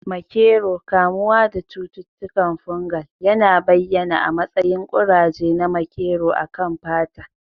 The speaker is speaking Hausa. Makero, kamuwa da cututtukan fungal, yana bayyana a matsayin kuraje na makero a kan fata.